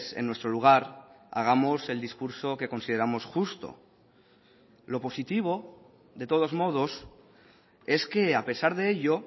en nuestro lugar hagamos el discurso que consideramos justo lo positivo de todos modos es que a pesar de ello